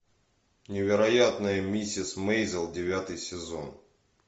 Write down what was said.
невероятная миссис мейзел девятый сезон